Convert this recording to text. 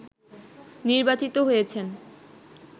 নির্বাচিত হয়েছেন